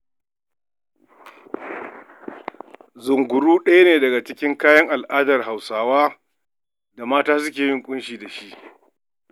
Zunguru ɗaya ne daga cikin kayan al'adar Hausawa da mata suke yin ƙunshi da shi.